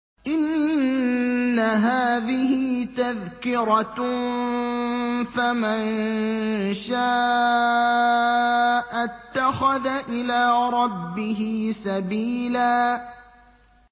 إِنَّ هَٰذِهِ تَذْكِرَةٌ ۖ فَمَن شَاءَ اتَّخَذَ إِلَىٰ رَبِّهِ سَبِيلًا